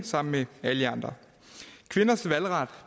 sammen med alle jer andre kvinders valgret